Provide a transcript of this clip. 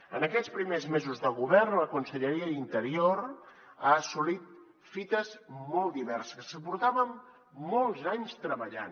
en aquests primers mesos de govern la conselleria d’interior ha assolit fites molt diverses que portàvem molts anys treballant